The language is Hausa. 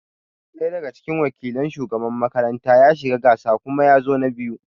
Ɗaya daga cikin wakilin shugabannin makaranta ya shiga gasa kuma yazo na biyu